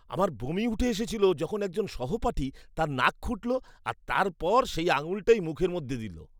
আমার বমি উঠে এসেছিল যখন একজন সহপাঠী তার নাক খুঁটল আর তারপর সেই আঙুলটাই মুখের মধ্যে দিলো।